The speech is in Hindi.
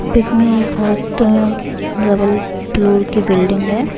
पिक में डबल फ्लोर की बिल्डिंग हैं।